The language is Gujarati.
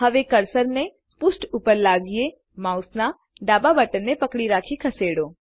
હવે કર્સરને પૃષ્ઠ ઉપર લાવીએ જીટીજીટી માઉસના ડાબા બટનને પકડી રાખી ખસેડો